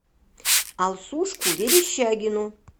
алсушку верещагину